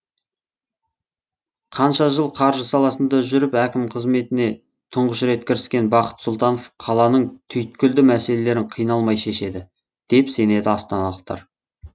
қанша жыл қаржы саласында жүріп әкім қызметіне тұңғыш рет кіріскен бақыт сұлтанов қаланың түйткілді мәселелерін қиналмай шешеді деп сенеді астаналықтар